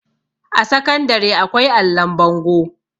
a sakandare akwai allon bango